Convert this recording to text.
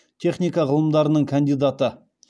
техника ғылымдарының кандидаты